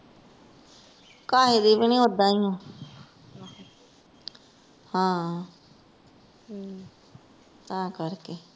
ਕਾਹੇ ਦੀ ਵੀ ਨੀ, ਉੱਦਾਂ ਈ ਆ ਹਾਂ ਹਮ ਤਾਂ ਕਰ ਕੇ।